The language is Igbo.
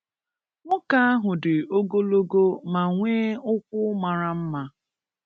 Nwoke ahụ dị ogologo ma nwee ụkwụ mara mma